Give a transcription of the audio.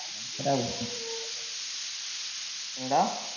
என்னடா